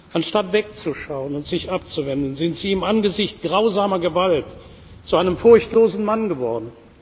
Anstatt wegzuschauen und sich abzuwenden, sind Sie im Angesicht grausamer Gewalt zu einem furchtlosen Mann geworden.